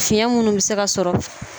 Fiɲɛ minnu bi se ka sɔrɔ.